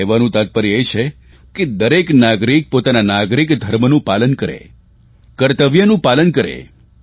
કહેવાનું તાત્પર્ય એ છે કે દરેક નાગરિક પોતાના નાગરિક ધર્મનું પાલન કરે કર્તવ્યનું પાલન કરે